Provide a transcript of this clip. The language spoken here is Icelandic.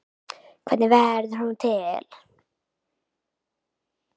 Hvernig verður hún til?